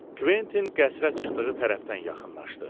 Kventin qəsrə çıxdığı tərəfdən yaxınlaşdı.